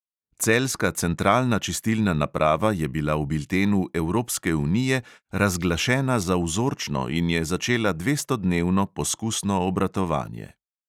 Celjska centralna čistilna naprava je bila v biltenu evropske unije razglašena za vzorčno in je začela dvestodnevno poskusno obratovanje.